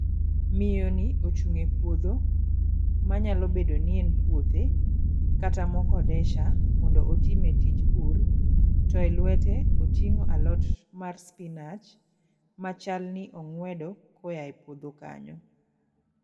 Miyo ni ochung' e puodho manyalo bedo ni en puothe kata mokodesha mondo otime tij pur to e luete oting'o alot mar spinach machal ni ong'uedo koa e puodho kanyo